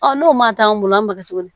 Ɔ n'o ma taa an bolo an b'a kɛ cogo di